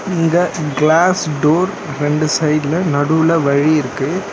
இங்க glass door ரெண்டு சைடுல நடுவுல வழி இருக்கு.